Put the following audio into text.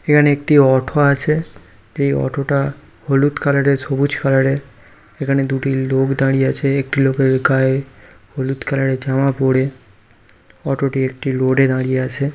এখানে একটি অটো আছে এই অটো টা হলুদ কালার এর সবুজ কালার এর এখানে দুটো লোক দাঁড়িয়ে আছে একটি লোকের গায়ে হলুদ কালার এর জামা পরে অটো টি একটি রোড এ দাঁড়িয়ে আছে।